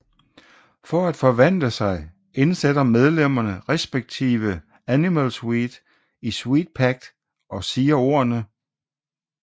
For at forvandle sig indsætter medlemmerne respktive Animal Sweet i Sweets Pact og siger ordene